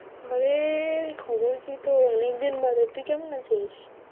আরে খবর কি তোর? অনেকদিন বাদে, তুই কেমন আছিস?